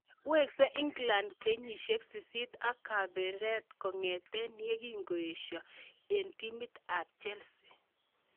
Wekse England kenyisiek sisit ak kepeperiat kongete yakikiisyo eng timit ab Chelsea.